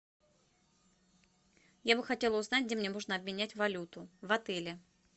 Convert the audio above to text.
я бы хотела узнать где мне можно обменять валюту в отеле